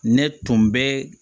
Ne tun bɛ